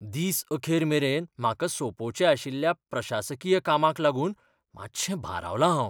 दीस अखेरमेरेन म्हाका सोंपोवचें आशिल्ल्या प्रशासकीय कामाक लागून मातशें भारावलां हांव.